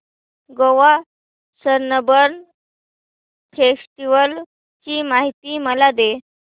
Goa Sunburn festival ची माहिती मला दे